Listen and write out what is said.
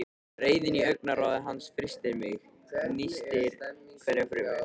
Reiðin í augnaráði hans frystir mig, nístir hverja frumu.